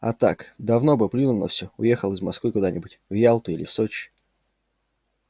а так давно бы плюнул на все уехал из москвы куда-нибудь в ялту или в сочи